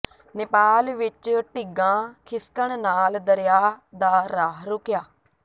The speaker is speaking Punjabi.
ਨੇਪਾਲ ਵਿੱਚ ਢਿੱਗਾਂ ਖਿਸਕਣ ਨਾਲ ਦਰਿਆ ਦਾ ਰਾਹ ਰੁਕਿਆ